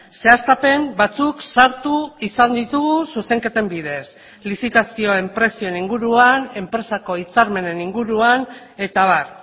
zehaztapen batzuk sartu izan ditugu zuzenketen bidez lizitazioen prezioen inguruan enpresako hitzarmenen inguruan eta abar